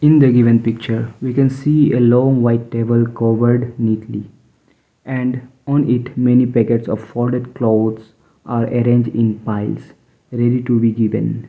in the given picture we can see a long white table covered neatly and on it many packets of folded clothes are arrange in piles ready to be given.